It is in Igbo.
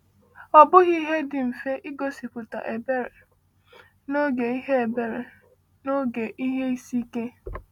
Ọ bụghị ihe dị mfe igosipụta ebere n’oge ihe ebere n’oge ihe isi ike.